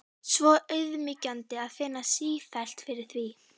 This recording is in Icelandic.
Svo auðmýkjandi að finna sífellt fyrir því.